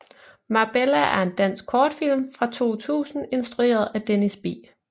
Marbella er en dansk kortfilm fra 2000 instrueret af Dennis B